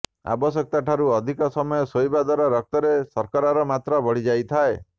ଆବଶ୍ୟକତା ଠାରୁ ଅଧିକ ସମୟ ଶୋଇବା ଦ୍ବାରା ରକ୍ତରେ ଶର୍କରାର ମାତ୍ରା ବଢି ଯାଇଥାଏ